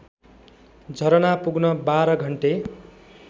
झरना पुग्न १२ घन्टे